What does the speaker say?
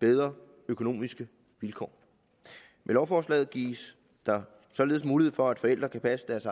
bedre økonomiske vilkår med lovforslaget gives der således mulighed for at forældre kan passe deres